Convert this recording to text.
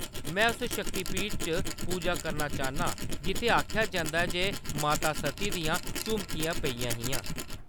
में उस शक्तिपीठ च पूजा करना चाह्‌न्ना आं जित्थै आखेआ जंदा ऐ जे माता सती दियां झुमकियां पेइयां हियां।